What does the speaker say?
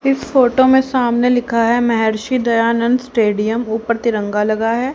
इस फोटो में सामने लिखा है महर्षि दयानंद स्टेडियम ऊपर तिरंगा लगा है।